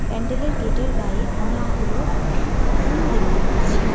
প্যান্ডেলের গেটের গায়ে অনেকগুলো ফুল দেখতে পারছি।